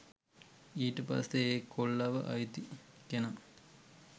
ඊට පස්සේ ඒ කොල්ලව අයිති කෙනා